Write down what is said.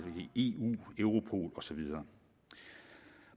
i eu europol og så videre